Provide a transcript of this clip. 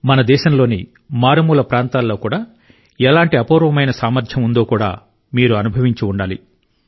మన దేశంలోని మారుమూల ప్రాంతాల్లో కూడా ఎలాంటి అపూర్వమైన సామర్థ్యం ఉందో కూడా మీరు అనుభవించి ఉండాలి